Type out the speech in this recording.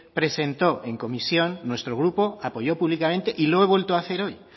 presentó en comisión nuestro grupo apoyó públicamente y lo he vuelto a hacer hoy